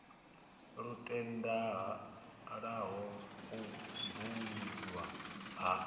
lu tendelaho u bwululwa ha